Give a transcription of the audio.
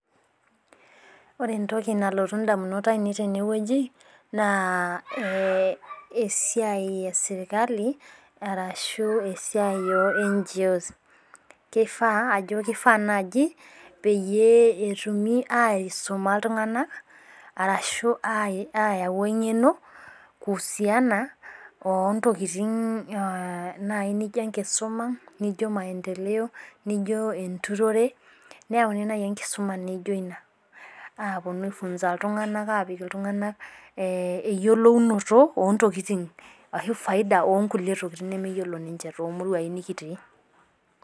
ore entoki nalotu idamunot ainei teneweji naa esiai e sirikali arashu esiai e NJO kifaa naji peyie etumi aisuma iltung'anak arashu ayau eng'eno kuhusiana wontokitin naaji naijo enkisuma nijio maendeleyo naijio enturore apuonu aifunza iltung'anak ayiolou eyielounoto oo intokikin ashu faida oontokitin nemeyiolo niche too ilmurai nikitii.